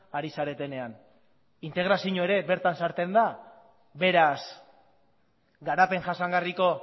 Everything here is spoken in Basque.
ari zaretenean integrazioa ere bertan sartzen da beraz garapen jasangarriko